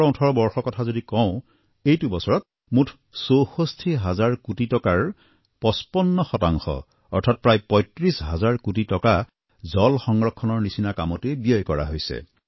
২০১৭১৮ বৰ্ষৰ কথা যদি কওঁ এইটো বছৰত মুঠ ৬৪ হাজাৰ কোটি টকাৰ ৫৫ শতাংশ অৰ্থাৎ প্ৰায় ৩৫ হাজাৰ কোটি টকা জল সংৰক্ষণৰ নিচিনা কামতেই ব্যয় কৰা হৈছে